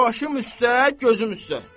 Başım üstə, gözüm üstə.